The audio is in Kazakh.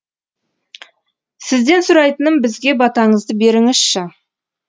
сізден сұрайтыным бізге батаңызды беріңізші